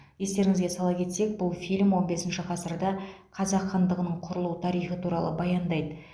естеріңізге сала кетсек бұл фильм он бесінші ғасырда қазақ хандығының құрылу тарихы туралы баяндайды